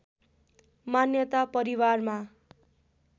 मान्यता परिवारमा